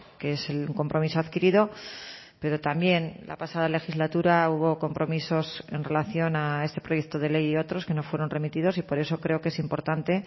que es el compromiso adquirido pero también la pasada legislatura hubo compromisos en relación a este proyecto de ley y otros que no fueron remitidos y por eso creo que es importante